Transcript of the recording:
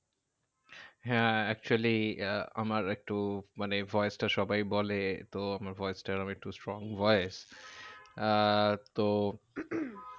হ্যাঁ actually আহ আমার একটু মানে voice টা সবাই বলে তো আমার voice টা আমার একটু strong voice. আহ তো